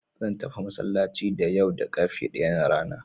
Zan tafi masallacin da yau da ƙarfe ɗaya na rana.